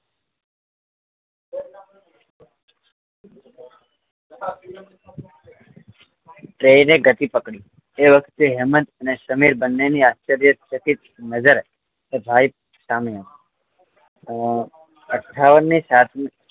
train એ ગતિ પકડી એ વખતે હેમંત અને સમીર બને ની આશ્ચર્ય ચકિત નજર એ ભાઈ સામે હતી અ અઠ્ઠાવન કે સાંઠ ની